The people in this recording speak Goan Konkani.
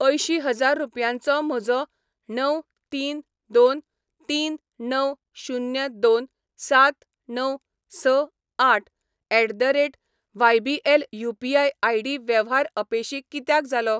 अंयशीं हजार रुपयांचो म्हजो णव तीन दोन तीन णव शुन्य दोन सात णव स आठ at the rate YBL UPI. ID वेव्हार अपेशी कित्याक जालो?